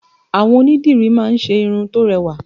Àwọn onídìrí má ń ṣe irun tó rẹwà